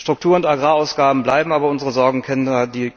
Struktur und Agrarausgaben bleiben aber unsere Sorgenkinder.